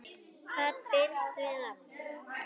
Hvað binst við nafn?